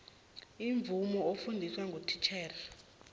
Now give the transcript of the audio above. imvumo ofundiswa ngititjhere